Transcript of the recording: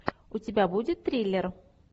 у тебя будет триллер